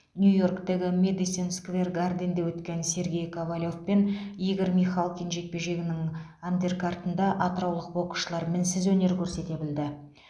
нью йорктегі мэдисон сквер гарденде өткен сергей ковалев пен игорь михалкин жекпе жегінің андеркартында атыраулық боксшылар мінсіз өнер көрсете білді